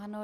Ano.